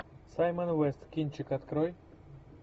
саймон уэст кинчик открой